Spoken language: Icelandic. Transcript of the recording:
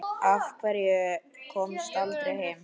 Af hverju komstu aldrei heim?